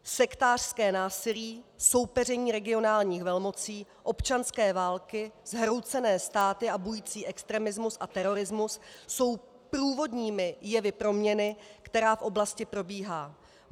Sektářské násilí, soupeření regionálních velmocí, občanské války, zhroucené státy a bující extremismus a terorismus jsou průvodními jevy proměny, která v oblasti probíhá.